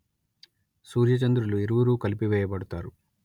సూర్యచంద్రులు ఇరువురూ కలిపివేయబడతారు